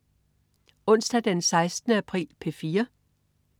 Onsdag den 16. april - P4: